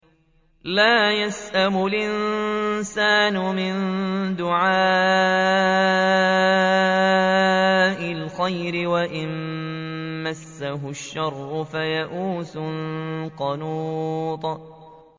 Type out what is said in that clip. لَّا يَسْأَمُ الْإِنسَانُ مِن دُعَاءِ الْخَيْرِ وَإِن مَّسَّهُ الشَّرُّ فَيَئُوسٌ قَنُوطٌ